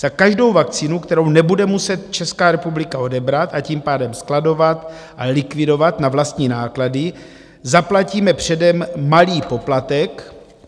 Za každou vakcínu, kterou nebude muset Česká republika odebrat, a tím pádem skladovat a likvidovat na vlastní náklady, zaplatíme předem malý poplatek.